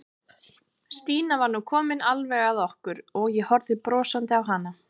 Stína var nú komin alveg að okkur og ég horfði brosandi á hana.